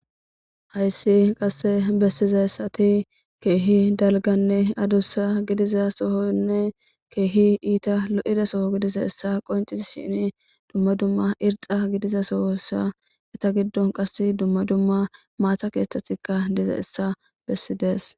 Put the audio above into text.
hayssi qasse bessiza ssati keehi dalganne adussa gidiza sohonne keehi iita lo7ida soo gidisa essa qoncisi shini dumma dumma irxa gidiza soosa eta giddo qass dumma dumma maata keeththetikka diza essa bessidees